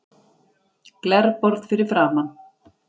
Glerborð fyrir framan.